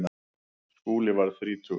Skúli varð þrítugur.